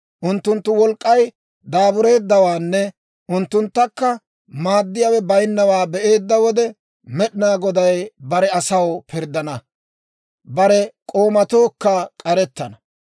Unttunttu wolk'k'ay daabureeddawaanne unttunttakka maaddiyaawe bayinnawaa be'eedda wode, Med'inaa Goday bare asaw pirddana; bare k'oomatookka k'arettana.